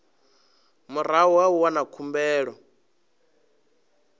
murahu ha u wana khumbelo